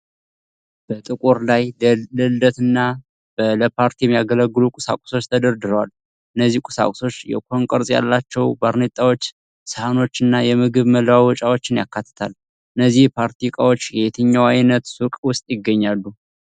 በጥቁር ชั้น ላይ ለልደት እና ለፓርቲ የሚያገለግሉ ቁሳቁሶች ተደርድረዋል። እነዚህ ቁሳቁሶች የኮን ቅርጽ ያላቸው ባርኔጣዎች፣ ሳህኖች እና የምግብ መለዋወጫዎችን ያካትታሉ። እነዚህ የፓርቲ እቃዎች የትኛው ዓይነት ሱቅ ውስጥ ይገኛሉ?